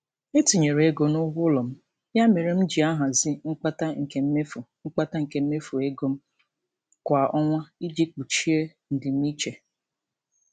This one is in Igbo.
E tinyere ego n'ụgwọ ụlọ m, ya mere m jị ahazi mkpata nke mmefu mkpata nke mmefu ego m kwa ọnwa iji kpuchie ndimiiche.